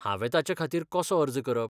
हांवें ताचेखातीर कसो अर्ज करप?